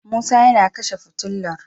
Musa ma kina futular